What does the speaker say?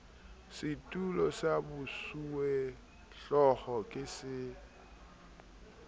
setulo sa bosuwehlooho ke se